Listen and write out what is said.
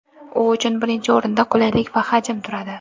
U uchun birinchi o‘rinda qulaylik va hajm turadi.